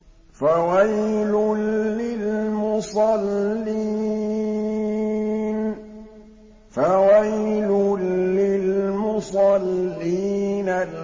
فَوَيْلٌ لِّلْمُصَلِّينَ